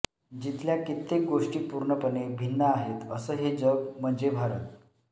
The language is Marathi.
जिथल्या कित्येक गोष्टी पूर्णपणे भिन्न आहेत असं हे जग म्हणजे भारत